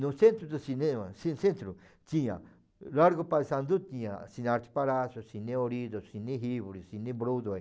No centro do cinema, assim centro, tinha Largo Paesandu, tinha Cine Arte Palácio, Cine Olhido, Cine Rivoli, Cine Broadway.